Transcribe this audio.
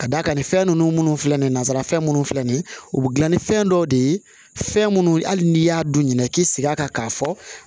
Ka d'a kan fɛn ninnu minnu filɛ nin ye nanzara fɛn minnu filɛ nin ye u bɛ dilan ni fɛn dɔw de ye fɛn minnu hali n'i y'a don ɲinɛ k'i sigi a kan k'a fɔ